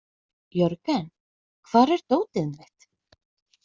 Jörgen, hvar er dótið mitt?